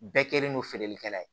Bɛɛ kɛlen don feerelikɛla ye